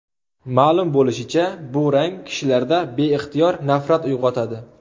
Ma’lum bo‘lishicha, bu rang kishilarda beixtiyor nafrat uyg‘otadi.